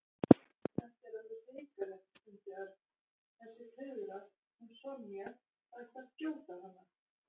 Þetta er alveg hrikalegt stundi Örn. Þessi tuðra, hún Sonja, það ætti að skjóta hana